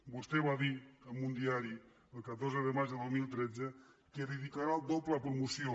vostè va dir en un diari el catorze de maig de dos mil tretze que dedicarà el doble a promoció